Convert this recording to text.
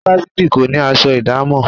Ifáfìti kò ní aṣọ ìdámọ̀.